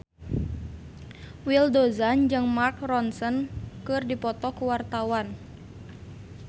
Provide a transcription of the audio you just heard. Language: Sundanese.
Willy Dozan jeung Mark Ronson keur dipoto ku wartawan